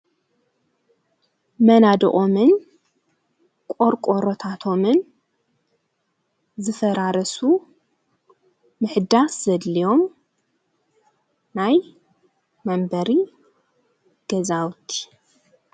መናድኦምን ቖርቆሮታቶምን ዝፈራረሱ ምሕዳስ ዘድልዮም ናይ መንበሪ ገዛውት።